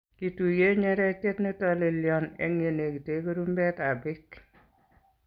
Kituyie nyeretyet ne tolelyon eng' yenekite kurumbetab beek.